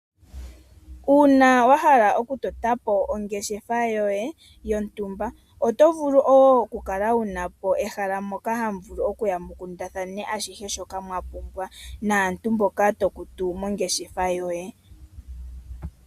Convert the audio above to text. Uuna wahala okutotapo ongeshefa yoye yontumba oto vulu okukala wuna ehala lyokukundathana ashihe shoka wapumbwa mwakwatelwa aantu mboka tokutu mongeshefa yoye.